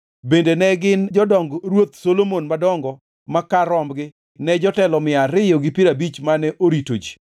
Bende ne gin jodong Ruoth Solomon madongo ma kar rombgi ne jotelo mia ariyo gi piero abich mane orito ji.